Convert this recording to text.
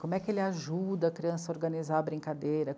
Como é que ele ajuda a criança a organizar a brincadeira?